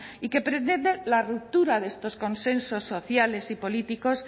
y que pretende la ruptura de estos consensos sociales y políticos